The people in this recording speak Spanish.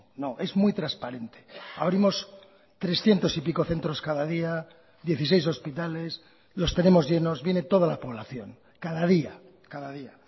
no es muy transparente abrimos trescientos y pico centros cada día dieciséis hospitales los tenemos llenos viene toda la población cada día cada día